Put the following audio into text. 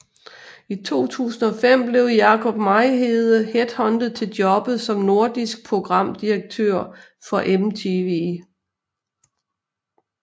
I 2005 blev Jakob Mejlhede headhuntet til jobbet som Nordisk Programdirektør for MTV